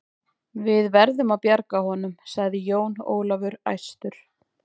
Við verðum að bjarga honum, sagði Jón Ólafur æstur.